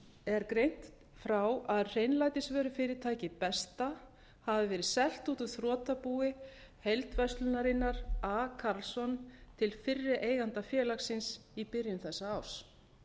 er greint frá að hreinlætisvörufyrirtækið besta hafi verið selt út úr þrotabúi heildverslunarinnar a karlsson til fyrri eiganda félagsins í byrjun þessa árs